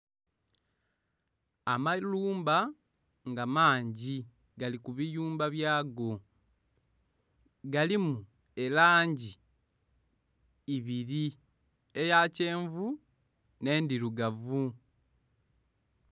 Amalumba nga mangi gali kubiyumba byago galimu elangi ibiri eya kyenvu enh'endhirugavu.